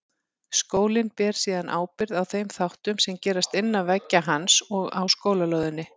Skólinn ber síðan ábyrgð á þeim þáttum sem gerast innan veggja hans og á skólalóðinni.